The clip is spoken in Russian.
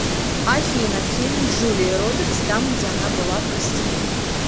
афина фильм с джулией робертс там где она была простиуткой